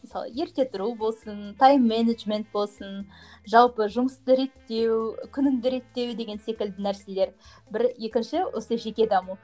мысалы ерте тұру болсын тайм менеджмент болсын жалпы жұмысты реттеу күніңді реттеу деген секілді нәрселер бір екінші осы жеке даму